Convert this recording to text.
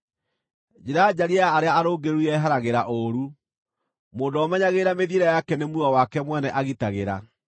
Njĩra njariĩ ya arĩa arũngĩrĩru yeheragĩra ũũru; mũndũ ũrĩa ũmenyagĩrĩra mĩthiĩre yake nĩ muoyo wake mwene agitagĩra.